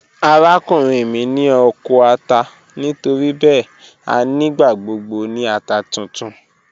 Arakunrin mi ni oko ata nitoribẹẹ a nigbagbogbo ni ata tuntun.